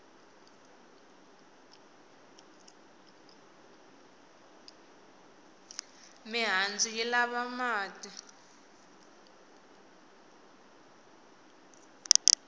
mihandzu yi lava mati